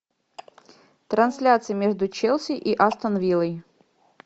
трансляция между челси и астон виллой